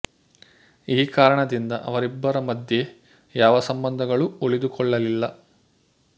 ಈ ಕಾರಣದಿಂದ ಅವರಿಬ್ಬರ ಮಧ್ಯೆ ಯಾವ ಸಂಬಂಧಗಳು ಉಳಿದು ಕೊಳ್ಳಲಿಲ್ಲ